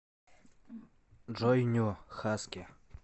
джой ню хаски